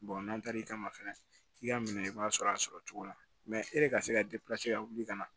n'an taar'i kama fɛnɛ k'i ka minɛ i b'a sɔrɔ a sɔrɔ cogo la e de ka se ka ka wuli ka na